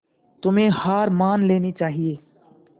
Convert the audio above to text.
तुम्हें हार मान लेनी चाहियें